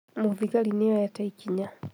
Mũthigari nĩoete ikinya